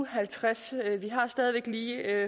og halvtreds vi har stadig væk lige